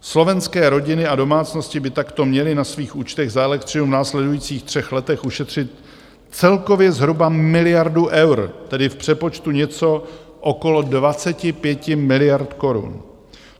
Slovenské rodiny a domácnosti by takto měly na svých účtech za elektřinu v následujících třech letech ušetřit celkově zhruba miliardu eur, tedy v přepočtu něco okolo 25 miliard korun.